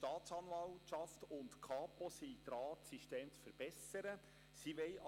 Die Staatsanwaltschaft und die Kapo Bern verbessern derzeit die Systeme.